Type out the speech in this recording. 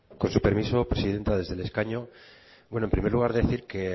con su permiso presidenta desde el escaño bueno en primer lugar decir que